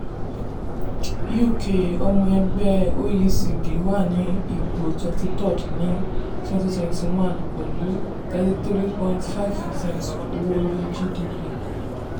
uk ọmọ ẹgbẹ́ oecd wà ní ipò twenty three rd ní twenty twenty one pẹ̀lú thirty three point five percent owó orí/gdp.